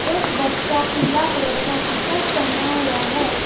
एक बच्चा पीला कलर का टी शर्ट पहना हुआ है।